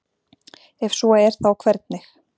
ef svo er þá hvernig